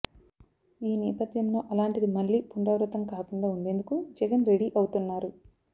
ఈ నేపథ్యంలో అలాంటిది మళ్లీ పునరావృతం కాకుండా ఉండేందుకు జగన్ రెడీ అవుతున్నారు